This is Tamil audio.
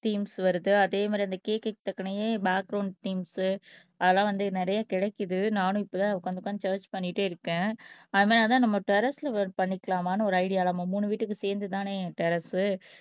தீம்ஸ் வருது அதே மாதிரி அந்த கேக்க்கு தக்கனே பேக்கிரௌண்ட் தீம்ஸ் அதெல்லாம் வந்து நிறைய கிடைக்குது நானும் இப்பதான் உட்கார்ந்து உட்கார்ந்து சர்ச் பண்ணிட்டே இருக்கேன் அதனாலதான் நம்ம டெர்ரஸ்ல ஒர்க் பண்ணிக்கலாமான்னு ஒரு ஐடியா நம்ம மூணு வீட்டுக்கு சேர்ந்துதானே டெர்ரஸ்